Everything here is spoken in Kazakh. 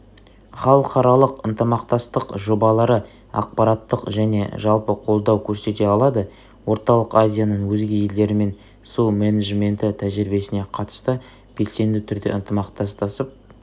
халықаралық ынтымақтастық жобалары ақпараттық және жалпы қолдау көрсете алады орталық азияның өзге елдерімен су менеджменті тәжірибесіне қатысты белсенді түрде ынтымақтасып